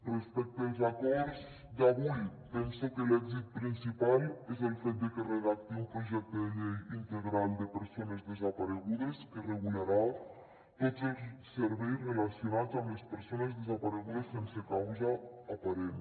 respecte als acords d’avui penso que l’èxit principal és el fet de que es redacti un projecte de llei integral de persones desaparegudes que regularà tots els serveis relacionats amb les persones desaparegudes sense causa aparent